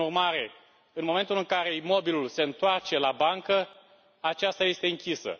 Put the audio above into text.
Prin urmare, în momentul în care imobilul se întoarce la bancă, aceasta este închisă.